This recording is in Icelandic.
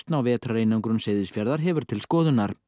á vetrareinangun Seyðisfjarðar hefur til skoðunar